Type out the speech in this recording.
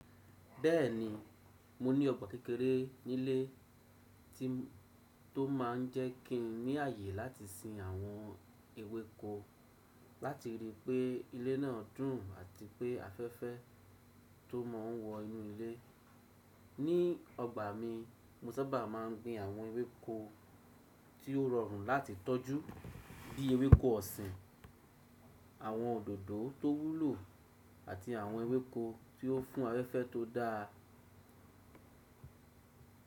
Bẹ́ẹ̀ni, mo ní ọgbà kékeré nílé tó máà ń jẹ́ kín ní ààyè láti sin àwọn ewéko láti rí i pé ilé náà dùn àti pé afẹ́fẹ́ tó máa ń wọ inú ilé. Ní ọgbà mi, mo sábà máa ń gbin àwọn ewéko tí ó rọrùn láti tọ́jú bí ewéko ọ̀sìn, àwọn òdòdó tó wúlò àti àwọn ewéko tí ó fún afẹ́fẹ́ tó dáa.